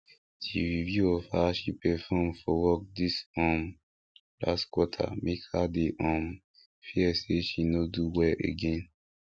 the review of how she perform for work this um last quarter make her dey um fear say she no do well again